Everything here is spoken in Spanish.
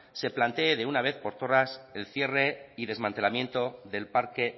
se plantee de una vez por todas el cierre y desmantelamiento del parque